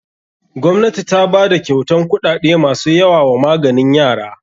Gwamnati ta bada kyautan kuɗaɗe masu yawa wa maganin yara.